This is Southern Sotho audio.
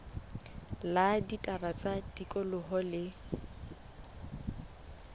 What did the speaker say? la ditaba tsa tikoloho le